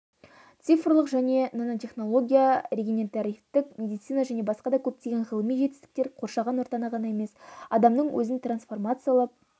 цифрлық және нанотехнология регенеративтік медицина және басқа да көптеген ғылыми жетістіктер қоршаған ортаны ғана емес адамның өзін трансформациялап